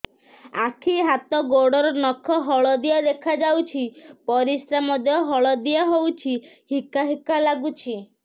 ଆଖି ହାତ ଗୋଡ଼ର ନଖ ହଳଦିଆ ଦେଖା ଯାଉଛି ପରିସ୍ରା ମଧ୍ୟ ହଳଦିଆ ହଉଛି ହିକା ହିକା ଲାଗୁଛି